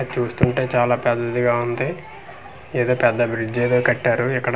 చూస్తుంటే చాలా పెద్దదిగా వుంది ఏదో పెద్ద బ్రిల్జ్ ఏదో కట్టారు ఇక్కడ .